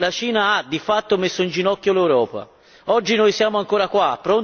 Con queste semplici mosse, la Cina ha, di fatto, messo in ginocchi l'Europa.